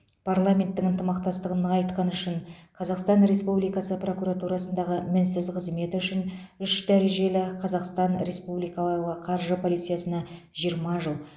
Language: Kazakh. парламенттің ынтымақтастығын нығайтқаны үшін қазақстан республикасы прокуратурасындағы мінсіз қызметі үшін үш дәрежелі қазахстан республикалы қаржы полициясына жиырма жыл